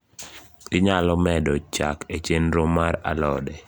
inyalo medo chak e chenro mar alode